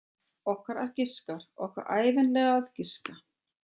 Okkar að giska, okkar ævinlega að giska.